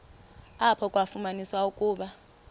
apho kwafunyaniswa ukuba